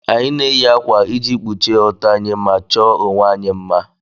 Anyị na-eyi ákwà iji kpuchie ọtọ anyị ma chọọ onwe anyị mma